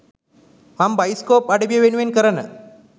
මං බයිස්කෝප් අඩවිය වෙනුවෙන් කරන